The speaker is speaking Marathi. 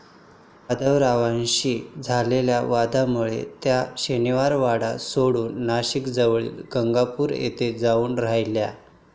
माधवरावांशी झालेल्या वादामुळे त्या शनिवारवाडा सोडून नाशिकजवळ गंगापूर येथे जाऊन राहिल्या.